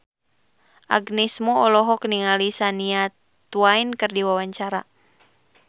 Agnes Mo olohok ningali Shania Twain keur diwawancara